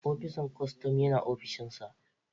opisan kostom Yana opishinsa